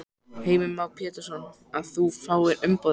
Heimir Már Pétursson: Að þú fáir umboðið?